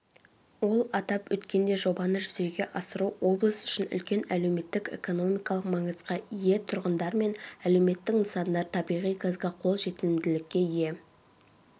ол атап өткендей жобаны жүзеге асыру облыс үшін үлкен әлеуметтік-экономикалық маңызға ие тұрғындар мен әлеуметтік нысандар табиғи газға қол жетімділікке ие